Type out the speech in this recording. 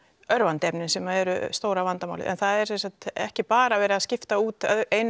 örvandi efnin sem eru stóra vandamálið það er ekki bara verið að skipta út